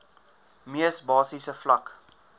mees basiese vlak